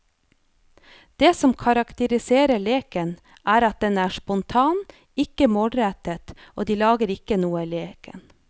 Det som karakteriserer leken, er at den er spontan, ikke målrettet og de lager ikke noe i leken.